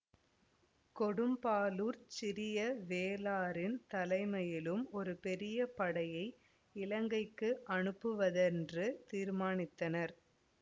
கொடும்பாளூர்ச் சிறிய வேளாரின் தலைமையிலும் ஒரு பெரிய படையை இலங்கைக்கு அனுப்புவதென்று தீர்மானித்தார்